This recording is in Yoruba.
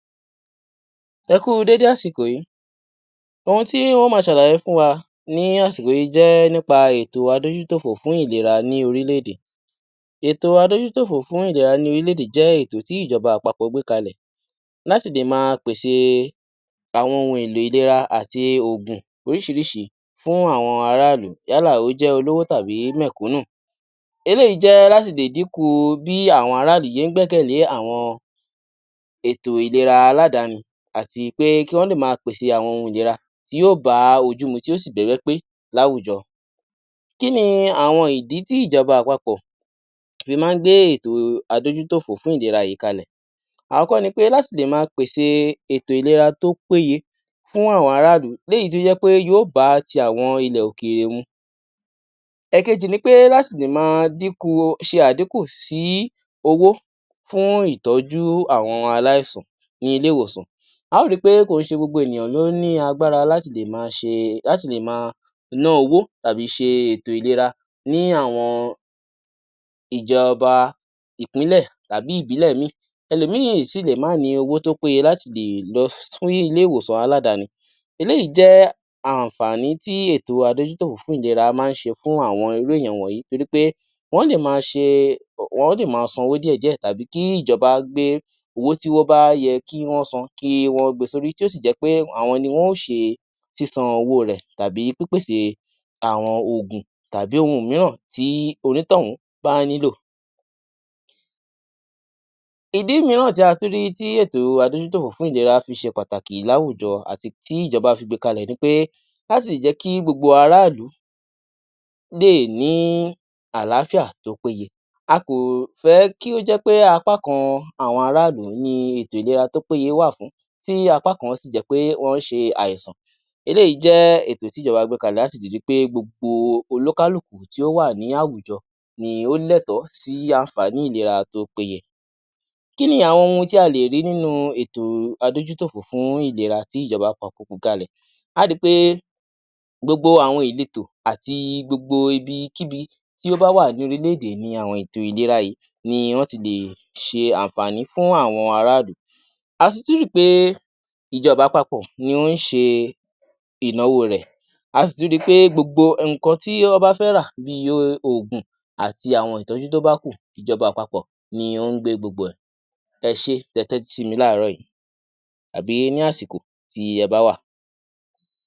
Ẹ kú u déédé àsìkò yí, ohun tí n ó ma ṣàlàyé fún wa ní àsìkò yí jẹ́ nípa ètò adójútòfò fún ìlera ní orílẹ̀-èdè. Ètò adójútòfò fún ìlera ní orílẹ̀-èdè jẹ́ ètò tí ìjọba àpapọ̀ gbé kalẹ̀ láti lè ma pèsè àwọn ohun èlò ìlera àti ògùn oríṣiríṣi fún àwọn ará ìlú yálà o jẹ́ olówó tàbí mẹ̀kúnù. Eléyìí jẹ́ láti lè díkù bí àwọn ará ìlú ṣe ń gbẹ́kẹ̀lé àwọn ètò ìlera aládàáni àti pé kí wọ́n lè ma pèsè àwọn ohun ìlera tí yóò bá ojú mu tí yóò sìbá ẹgbẹ́ pé ní àwùjọ. Kí ni àwọn ìdí tí ìjọba àpapọ̀ fi má ń gbé ètò adójútòfò fún ìlera yìí kalẹ̀. Àkọ́kọ́ ni pé láti lè ma pèsè ètò ìlera tó péye fún àwọn ará ìlú léyìí tí ó jẹ́ pé yóò bá ti àwọn ilẹ̀ òkèèrè mu. Èkejì ni pé láti lè ma díkù, ṣe àdíkù sí owó fún ìtọ́jú àwọn aláìsàn ní ilé-ìwòsàn. A ó ri pé kì í ṣe gbogbo ènìyàn ló ní agbára láti lè ma ná owó tàbí ṣe ètò ìlera ní àwọn ìjọba ìpínlẹ̀ tàbí ìbílẹ̀ ìmíì, ẹlò míì sì lè má ní owó tó péye láti lè lọ sí ilé-ìwòsàn aládàáni. Eléyìí jẹ́ àǹfàní tí ìlera adójútòfò fún ìlera ma ń ṣe nítorí pé wọ́n lè ma san owó díẹ̀ díẹ̀ tàbí kí ìjọba gbé owó tí ó bá yẹ kí wọ́n san kí wọ́n gbe sórí tí ó sì jẹ pé àwọn ni wọn ó ṣe sísan owó rẹ̀ àbí pípèsè àwọn ògùn tàbí ohun míràn tí onítọ̀hún bá nílò. Ìdí míràn tí a tún rí tí ètò adójútòfò fún ìlera fi ṣe pàtàkì láwùjọ àti tí ìjọba fi gbe kalè ni pé láti lè jẹ́ kí gbogbo ará ìlú lè ní àlááfíà tí ó péye. A kò fẹ kí ó jẹ́ pé apá kan àwọn ará ìlú ni ètò ìlera tí ó péye wà fún tí apá kan sì jẹ́ pé wọ́n ṣe àìsàn, eléyìí jẹ́ ètò tí ìjọba gbé kalẹ̀ láti lè ri pé gbogbo olúkálùkù tí ó wà ní àwùjọ ni ó lẹtọ́ọ̀ sí àǹfàní ètò ìlera tí ó péye. Kí ni àwọn ohun ti a lè rí nínú ètò adójútòfò fún ìlera tí ìjọba àpapọ̀ gbé kalẹ̀. A á ri pé gbogbo àwọn ìletọ̀ àti gbogbo ibikíbi tí ó bá wà ní orílẹ̀-èdè ni àwọn ètò ìlera yìí ni wọ́n ti lè ṣe àǹfàní fún àwọn ará ìlú. A sì tún ri pé ìjọba àpapọ̀ ni ó ń ṣe ìnáwó rẹ̀, a sì tún ri pé gbogbo nǹkan tí wọ́n bá fẹ́ rà bíi ògùn àti àwọn ìtọ́jú tí ó bá kù, ìjọba àpapọ̀ ni ó ń gbé gbogbo ẹ̀, ẹ ṣé tẹ tẹ́tí sí mi láàárò yí tàbí ní àsìkò tí ẹ bá wà.